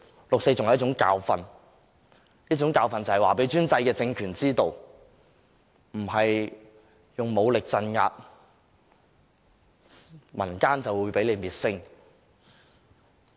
六四是一種教訓，這種教訓讓專制的政權知道，並非使用武力鎮壓，民間便會被滅聲。